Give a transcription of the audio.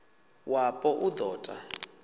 wapo u d o ta